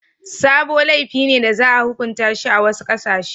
Sabo laifi ne da za a hukunta shi a wasu ƙasashe.